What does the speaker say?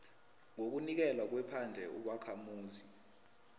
ngokunikelwa kwephandle ubakhamuzi